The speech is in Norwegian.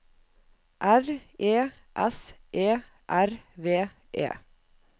R E S E R V E